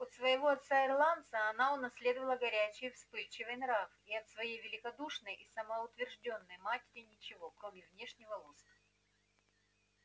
от своего отца-ирландца она унаследовала горячий вспыльчивый нрав и от своей великодушной и самоутверждённой матери ничего кроме внешнего лоска